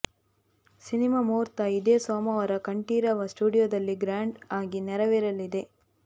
cinema ಮುಹೂರ್ತ ಇದೇ ಸೋಮವಾರ ಕಂಠೀರವ ಸ್ಟುಡಿಯೋದಲ್ಲಿ ಗ್ರ್ಯಾಂಡ್ ಆಗಿ ನೆರವೇರಲಿದೆ